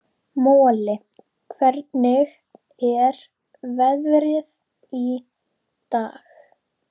Moli, hvernig er veðrið í dag?